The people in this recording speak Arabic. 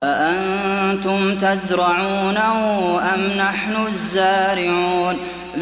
أَأَنتُمْ تَزْرَعُونَهُ أَمْ نَحْنُ الزَّارِعُونَ